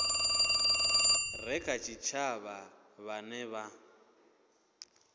re kha tshitshavha vhane vha